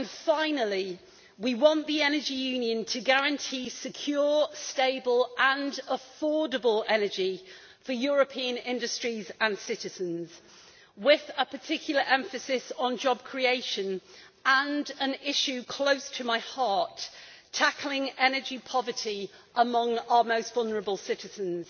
Finally, we want the Energy Union to guarantee secure, stable and affordable energy for European industries and citizens, with a particular emphasis on job creation and an issue close to my heart tackling energy poverty among our most vulnerable citizens.